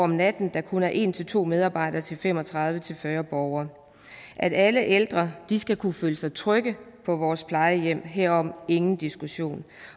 natten kun er en to medarbejdere til fem og tredive til fyrre borgere alle ældre skal kunne føle sig trygge på vores plejehjem herom er ingen diskussion